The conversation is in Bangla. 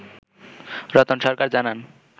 রতন সরকার জানান